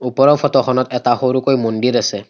ওপৰৰ ফটো খনত এটা সৰুকৈ মন্দিৰ আছে।